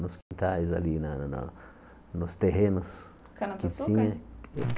nos quintais ali, na na nos terrenos.